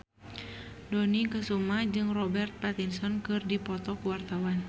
Dony Kesuma jeung Robert Pattinson keur dipoto ku wartawan